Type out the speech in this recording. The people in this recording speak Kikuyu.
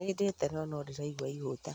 Nĩ ndĩĩte no, no ndĩraigua ihũta